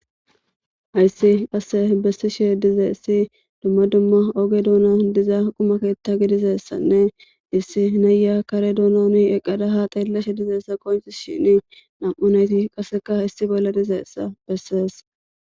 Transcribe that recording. Hayssi qasse bessishe dizeessi dumma dumma oge duuna diza qumaketta gidizeessanne issi naya kare duunoomi eqqada ha xeelleshe dizeessa konchis shin nam'u nayti qasseka hayssi bolla dizeessa bessees.